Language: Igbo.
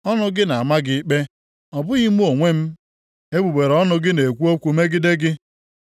Ọnụ gị na-ama gị ikpe, ọ bụghị mụ onwe m, egbugbere ọnụ gị na-ekwu okwu megide gị.